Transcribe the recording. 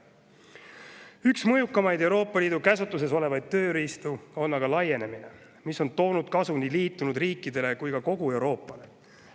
Üks mõjukamaid Euroopa Liidu käsutuses olevaid tööriistu on aga laienemine, mis on toonud kasu nii liitunud riikidele kui ka kogu Euroopale.